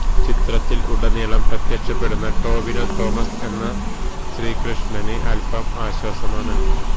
ചിത്രത്തില് ഉടനീളം പ്രത്യക്ഷപ്പെടുന്ന ടോവിനോ തോമസ് എന്ന ശീകൃഷ്ണന് അല്പം ആശ്വാസമാണ്